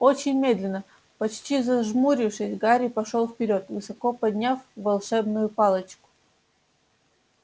очень медленно почти зажмурившись гарри пошёл вперёд высоко подняв волшебную палочку